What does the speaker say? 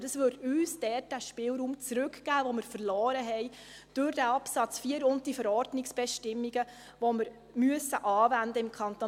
Dies würde uns dort den Spielraum zurückgeben, den wir verloren haben durch diesen Absatz 4 und die Verordnungsbestimmungen, die wir im Kanton Bern anwenden müssen.